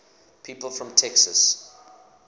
people from texas